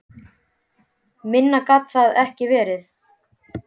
Minna gat það nú ekki verið.